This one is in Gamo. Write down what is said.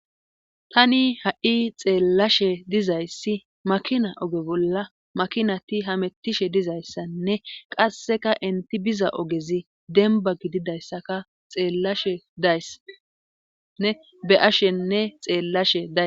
Tani ha'i xeellashe dizayssi makina oge bolla makinati hamettishe dizayssanne qasseka inti biza ogezi denba gididayssaka xeelasheday be ashenne xeellashe da